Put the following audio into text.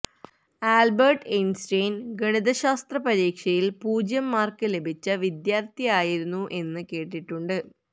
Albert Einstein ഗണിതശാസ്ത്ര പരീക്ഷയില് പൂജ്യം മാര്ക്ക് ലഭിച്ച വിദ്യാര്ത്ഥിയായിരുന്നു എന്ന് കേട്ടിട്ടുണ്ട്